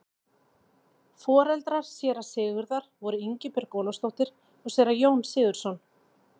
Foreldrar séra Sigurðar voru Ingibjörg Ólafsdóttir og séra Jón Sigurðsson.